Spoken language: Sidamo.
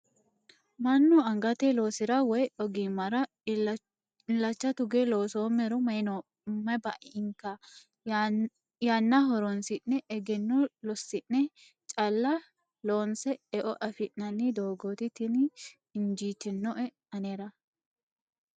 Mannu angate loosira woyi ogimmara illacha tuge loosommero mayi bainka yanna horonsi'ne egenno losi'ne calla loonse eo affi'nanni doogoti tini injitinoe anera.